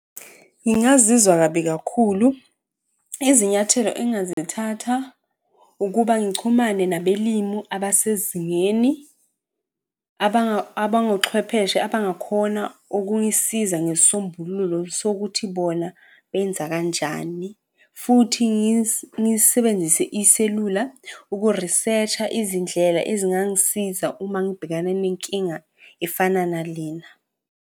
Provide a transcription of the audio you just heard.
Ngingazizwa kabi kakhulu. Izinyathelo engingazithatha ukuba ngichumane nabelimu abasezingeni, abangochwepheshe abangakhona ukungisiza ngesisombululo sokuthi bona benza kanjani futhi ngisebenzise iselula uku-research-a izindlela ezingangisiza uma ngibhekane nenkinga efana nale.